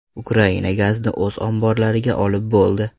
Ukraina gazni o‘z omborlariga olib bo‘ldi.